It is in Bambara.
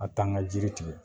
A tan ka jiri tigɛ